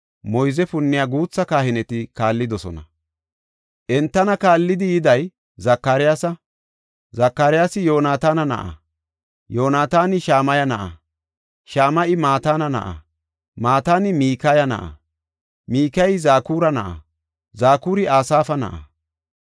moyze punniya guutha kahineti kaallidosona. Entana kaallidi yiday Zakaryaasa; Zakaryaasi Yoonataana na7a; Yoonataani Shama7a na7a; Shama7i Mataana na7a; Mataani Mikaya na7a; Mikayey Zakura na7a; Zakuri Asaafa na7a.